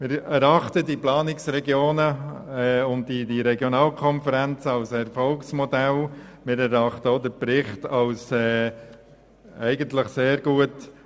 Wir erachten die Planungsregionen und Regionalkonferenzen als Erfolgsmodell und auch den Bericht als sehr gut.